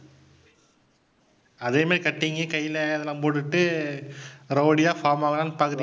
அதே மாதிரி cutting கைல அதெல்லாம் போட்டுக்கிட்டு rowdy யா form ஆகலாம்னு பாக்கறீ~